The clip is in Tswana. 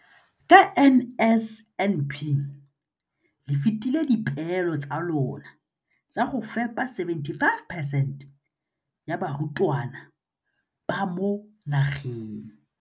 Ka NSNP le fetile dipeelo tsa lona tsa go fepa 75 percent ya barutwana ba mo nageng.